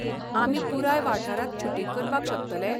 आमी पुराय वाठारांत शुटिंग करपाक शकतले?